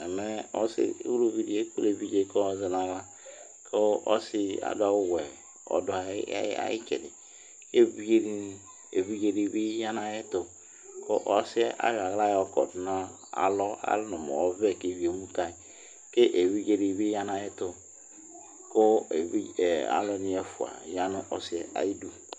Ɛmɛ ʊlʊʋɩ ɗɩ eƙple eʋɩɖze dɩ ƙa ƴɩ zɛ ŋʊ awla, ƙʊ ɔsɩ adʊ awʊ wɛ ƙʊ ɩdɩ aƴɩtsɛdɩ Zʋɩɖze dɩ bɩ ƴa ŋʊ aƴɛtʊ, kʊ ɔsɩ ƴɛ aƴɔ awla ƴɔƙɔdʊ ŋʊ alɔ alɛ ŋɔ mʊ ɔʋɛ kewʊɩ emʊ kaƴɩ Keʋɩɖze dɩɓɩ ƴa ŋʊ aƴetʊ Ƙʊ alʊ ŋɩ ɛƒʊa ƴa ŋʊ ɔsɩ ƴa aƴɩdʊ